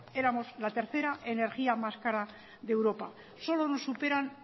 éramos la tercera energía más cara de europa solo nos superan